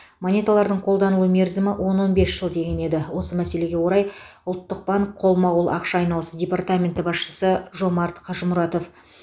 монеталардың қолданылу мерзімі он он бес жыл деген еді осы мәселеге орай ұлттық банк қолма қол ақша айналысы департаменті басшысы жомарт қажмұратов